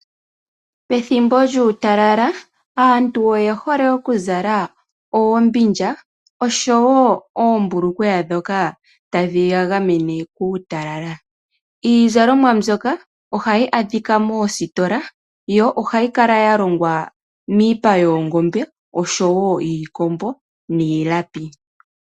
Pethimbo lyuutalala aantu oyehole okuzala oombindja osho wo oombulukweya ndhoka tadhi yagamene kuutalala. Iizalomwa mbyoka ohayi adhika moositola yo ohayi kala yalongwa miipa yoongombe osho wo yiikombo niilapi.